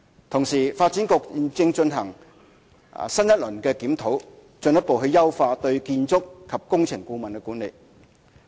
同時，發展局現正進行新一輪的檢討，進一步優化對建築及工程顧問的管理。